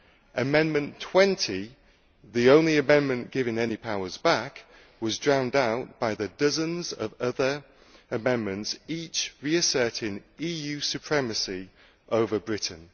Amendment 20, the only amendment giving any powers back, was drowned out by the dozens of other amendments, each reasserting EU supremacy over Britain.